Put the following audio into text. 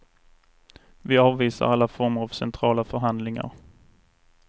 Vi avvisar alla former av centrala förhandlingar.